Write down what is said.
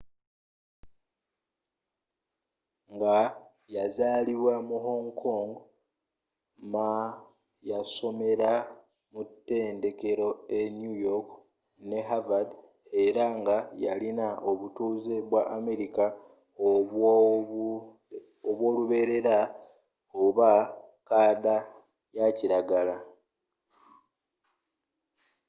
nga yazalibwa mu hong kong ma yasomela mu tendekelo e new york ne havard era nga yalina obutuze bwa amerika obw’oluberera oba kkaada yakiragala.